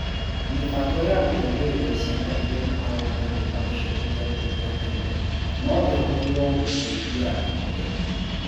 Mĩbango ya gũteithĩrĩria ciana iria ikoragwo na thĩna ũcio ikĩambĩrĩria tene, no ĩhũthĩrũo gũciteithia ikũre.